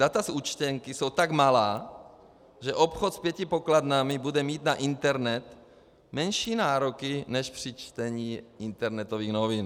Data z účtenky jsou tak malá, že obchod s pěti pokladnami bude mít na internet menší nároky než při čtení internetových novin.